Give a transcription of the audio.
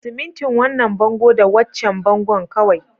Simintin wannan bango da waccan bangon kawai